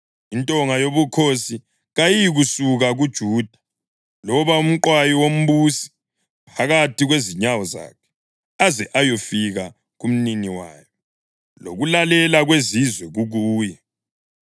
Intonga yobukhosi kayiyikusuka kuJuda, loba umqwayi wombusi phakathi kwezinyawo zakhe, aze ayofika kumnini wayo lokulalela kwezizwe kukuye.